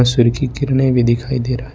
सूर्य के किरणें भी दिखाई दे रहा है।